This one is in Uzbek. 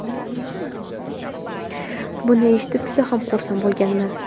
Buni eshitib, juda ham xursand bo‘lganman.